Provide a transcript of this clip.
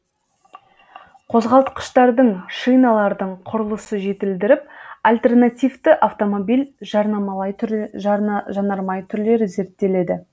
қозғалтқыштардың шиналардың құрылысы жетілдіріліп альтернативті автомобиль жанармай түрлері зерттеледі